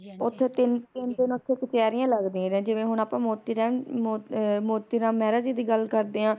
ਓਥੇ ਤਿਨ ਤਿਨ ਦਿਨ ਓਥੇ ਕਚਹਿਰੀਆਂ ਲੱਗਦੀਆਂ ਜਿਵੇ ਹੁਣ ਅੱਪਾ ਮੋਤੀ ਅ ਮੋਤੀਰਾਮ ਮੇਹਰ ਜੀ ਦੀ ਗੱਲ ਕਰਦੇ ਆ